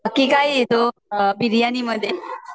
कि काय तो बिर्याणी मध्ये